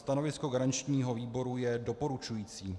Stanovisko garančního výboru je doporučující.